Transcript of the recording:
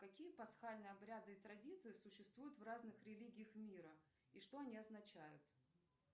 какие пасхальные обряды и традиции существуют в разных религиях мира и что они означают